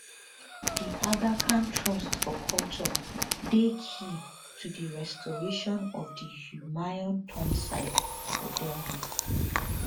the aga khan trust for culture dey key to di restoration of di humayun tomb site for delhi